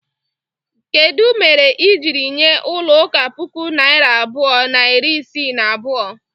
Kedu mere i jiri nye ulo uka puku naira abụọ na iri isii na abụọ?